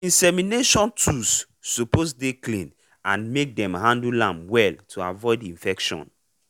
insemination tools suppose dey clean and make dem handle am well to avoid infection